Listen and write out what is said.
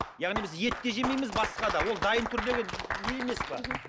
яғни біз ет те жемейміз басқа да ол дайын түріндегі не емес пе мхм